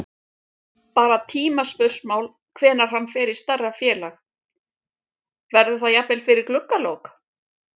Bara tímaspursmál hvenær hann fer í stærra félag. verður það jafnvel fyrir gluggalok?